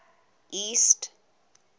east